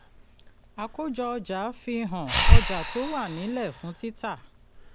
àkójọ-ọjà fi hàn ọjà tó wà nílẹ̀ fún títà